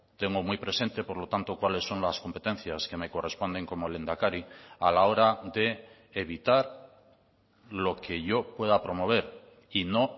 tengo muy presente por lo tanto cuáles son las competencias que me corresponden como lehendakari a la hora de evitar lo que yo pueda promover y no